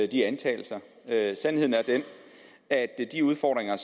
de antagelser sandheden er den at de udfordringer